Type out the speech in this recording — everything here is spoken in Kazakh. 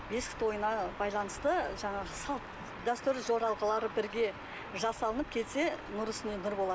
бесік тойына байланысты жаңағы салт дәстүр жоралғылары бірге жасалынып келсе нұр үстіне нұр болады